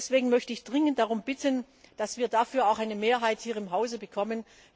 Deswegen möchte ich dringend darum bitten, dass wir dafür auch eine Mehrheit hier im Hause bekommen.